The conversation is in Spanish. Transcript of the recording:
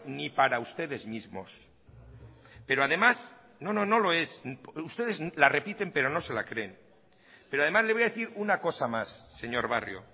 ni para ustedes mismos pero además no no no lo es ustedes la repiten pero no se la creen pero además le voy a decir una cosa más señor barrio